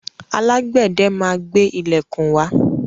Alágbẹ́dẹ máa gbé ilẹ̀kùn wá.